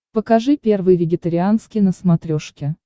покажи первый вегетарианский на смотрешке